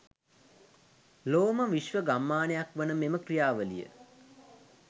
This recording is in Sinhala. ලොවම විශ්ව ගම්මානයක් වන මෙම ක්‍රියාවලිය